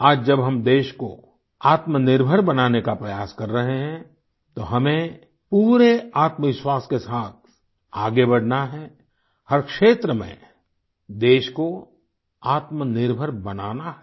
आज जब हम देश को आत्मनिर्भर बनाने का प्रयास कर रहे हैं तो हमें पूरे आत्मविश्वास के साथ आगे बढ़ना है हर क्षेत्र में देश को आत्मनिर्भर बनाना है